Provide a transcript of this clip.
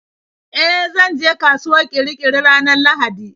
E, zanje kasuwar Kirikiri ranar Lahadi.